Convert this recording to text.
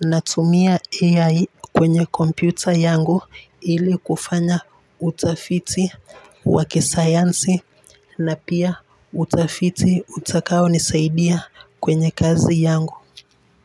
Natumia AI kwenye kompyuta yangu ili kufanya utafiti wa kisayansi na pia utafiti utakaonisaidia kwenye kazi yangu.